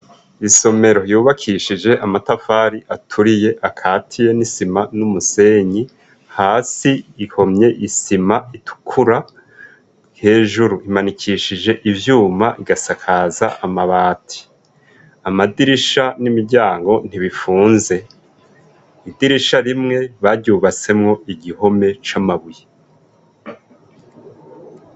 Isomero yubakishije amatafari aturiye akatiye n'isima n'umusenyi, hasi ihomye isima itukura, hejuru imanikishije ivyuma igasakaza amabati. Amadirisha n'imiryango ntibifunze. Idirisha rimwe baryubatsemwo igihome c'amabuye.